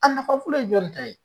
A nafa fɔlɔ ye jɔn ni ta ye ?